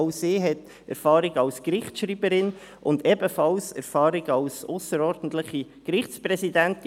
Auch sie hat Erfahrung als Gerichtsschreiberin und ebenfalls Erfahrung als ausserordentliche Gerichtspräsidentin;